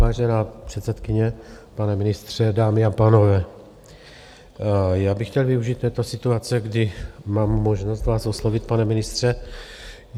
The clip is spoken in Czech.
Vážená předsedkyně, pane ministře, dámy a pánové, já bych chtěl využít této situace, kdy mám možnost vás oslovit, pane ministře.